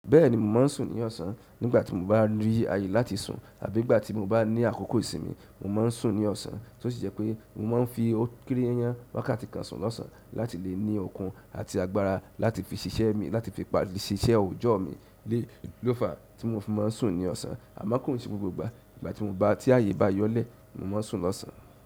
Bẹ́ẹ̀ni, mo máa ń sùn ní ọ̀sán. Nígbà tí mo bá rí àyè láti sùn àbí ìgbà tí mo bá ní àkókò ìsinmi, mo máa ń sùn ní ọ̀sán. Ó sì jẹ́ pé mo máa ń fi ókìrí yanyan wákàtí kan sùn lọ́sàn án láti lè ní okun àti agbára láti fi ṣiṣẹ́ mi, láti fi parí iṣẹ́ ọjọ́ mi. Ni lofa ti mo fi n ma sun ni osan. Àmọ́ kò n se gbogbo ìgbà. Ti mo ba ti aye ba yọ le ni mo maa n sun ni ọsan.